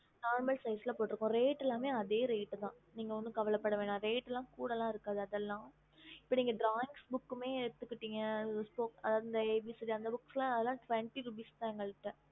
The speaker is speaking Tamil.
normal size reat அதே தா நீங்க ஒன்னும் கவலை பட வேணாம் reat குடல இருக்காதுஇப்போ drawing book ல நீங்க abc book reat அந்த தா